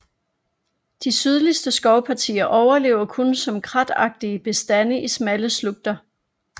De sydligste skovpartier overlever kun som kratagtige bestande i smalle slugter